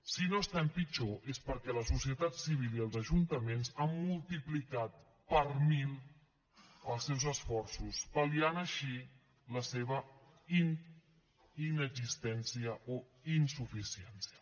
si no estem pitjor és perquè la societat civil i els ajuntaments han multiplicat per mil els seus esforços pal·liant així la seva inexistència o insuficiència